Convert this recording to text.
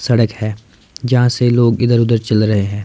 सड़क है जहां से लोग इधर उधर चल रहे है।